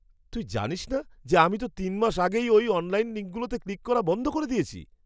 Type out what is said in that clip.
তুই জানিস না যে, আমি তো ৩ মাস আগেই ওই অনলাইন লিঙ্কগুলোতে ক্লিক করা বন্ধ করে দিয়েছি?